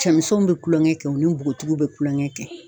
Cɛmisɛnw bɛ kulonkɛ kɛ , u ni bɔgɔtigiw bɛ kulonkɛ kɛ.